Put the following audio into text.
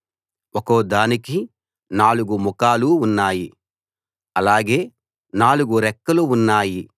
ఒక్కో దానికి నాలుగు ముఖాలు ఉన్నాయి అలాగే నాలుగు రెక్కలు ఉన్నాయి